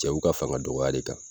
Cɛw ka fanga dɔgɔya le kan